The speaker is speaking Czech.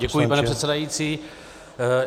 Děkuji, pane předsedající.